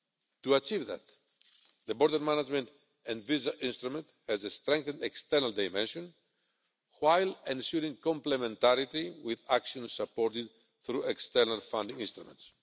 To achieve that, the Border Management and Visa Instrument has a strengthened external dimension while ensuring complementarity with action supported through external funding instruments.